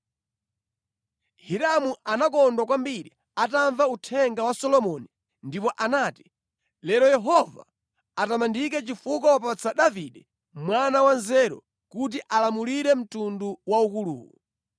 Hiramu anakondwa kwambiri atamva uthenga wa Solomoni ndipo anati, “Lero Yehova atamandike chifukwa wapatsa Davide mwana wanzeru kuti alamulire mtundu waukuluwu.”